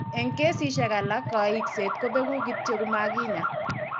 Eng' kesishek alak, kaikset kobeku kityo komakinya.